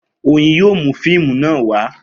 Oyin yóò mú fíìmù náà wá